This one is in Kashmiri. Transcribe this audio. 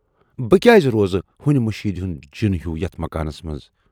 بہٕ کیازِ روزٕ ہُنۍ مٔشیٖد ہُند جِن ہیوٗ یتَھ مکانَس منز۔